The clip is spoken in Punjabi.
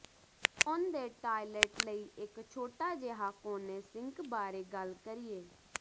ਹੁਣ ਦੇ ਟਾਇਲਟ ਲਈ ਇੱਕ ਛੋਟਾ ਜਿਹਾ ਕੋਨੇ ਸਿੰਕ ਬਾਰੇ ਗੱਲ ਕਰੀਏ